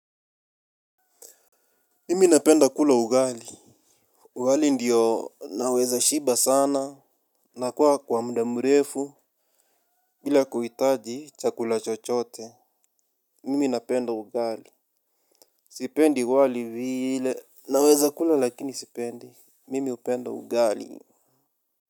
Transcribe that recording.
Mimi napenda kula ugali. Ugali ndiyo naweza shiba sana. Nakula kwa muda mrefu. Bila kuhitaji chakula chochote. Mimi napenda ugali, sipendi wali vile, naweza kula lakini sipendi. Mimi hupenda ugali.